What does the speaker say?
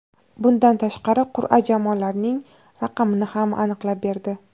Bundan tashqari qur’a jamoalarning raqamini ham aniqlab berdi.